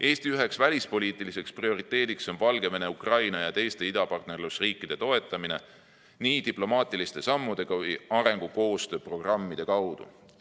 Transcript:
Eesti üks välispoliitilisi prioriteete on Valgevene, Ukraina ja teiste idapartnerlusriikide toetamine nii diplomaatiliste sammude kui ka arengukoostöö programmide kaudu.